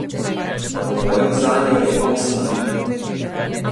V boju zanjo je osem filmov.